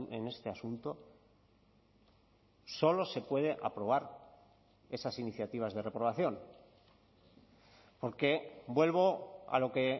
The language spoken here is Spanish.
en este asunto solo se puede aprobar esas iniciativas de reprobación porque vuelvo a lo que